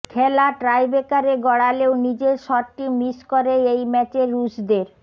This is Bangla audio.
খেলা টাইব্রেকারে গড়ালেও নিজের শটটি মিস করে এই ম্যাচে রুশদের